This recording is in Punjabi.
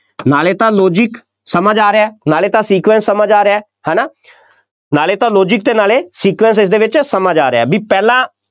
ਨਾਲੇ ਤਾਂ logic ਸਮਝ ਆ ਰਿਹਾ, ਨਾਲੇ ਤਾਂ sequence ਸਮਝ ਆ ਰਿਹਾ, ਹੈ ਨਾ, ਨਾਲੇ ਤਾਂ logic ਅਤੇ ਨਾਲੇ sequence ਇਸਦੇ ਵਿੱਚ ਸਮਝ ਆ ਰਿਹਾ, ਬਈ ਪਹਿਲਾਂ,